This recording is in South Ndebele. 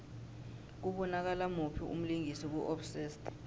kubonakala muphi umlingisi ku obsessed